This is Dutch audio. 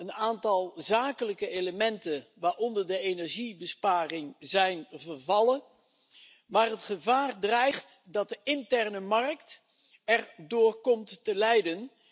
Een aantal zakelijke elementen, waaronder de energiebesparing, zijn vervallen. Het gevaar dreigt echter dat de interne markt erdoor komt te lijden.